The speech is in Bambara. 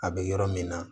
A bɛ yɔrɔ min na